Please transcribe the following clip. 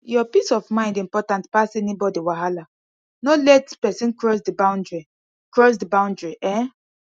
your peace of mind important pass anybody wahala no let person cross di boundry cross di boundry um